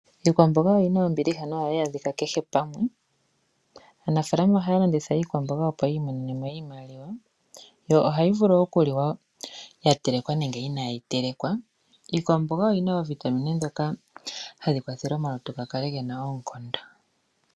Iikwambonga oyina ombiliha no hayi adhika pehe pamwe, aanafalama oha landitha iikwambonga opo yimonene mo iimaliwa yo oha yivulu wo okuliwa yatelekwa nenge inayi telekwa, iikwambonga oyina ovitamine dhoka hadhi kwathele omalutu gakale ngena okondo .